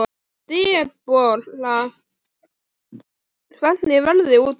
Debora, hvernig er veðrið úti?